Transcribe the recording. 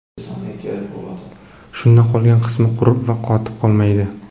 Shunda qolgan qismi qurib va qotib qolmaydi.